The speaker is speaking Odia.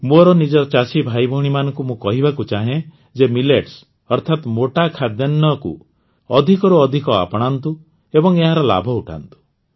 ମୋର ନିଜର ଚାଷୀ ଭାଇଭଉଣୀମାନଙ୍କୁ ମୁଁ କହିବାକୁ ଚାହେଁ ଯେ ମିଲେଟ୍ସ ଅର୍ଥାତ ମୋଟା ଖାଦ୍ୟାନ୍ନକୁ ଅଧିକରୁ ଅଧିକ ଆପଣାନ୍ତୁ ଏବଂ ଏହାର ଲାଭ ଉଠାନ୍ତୁ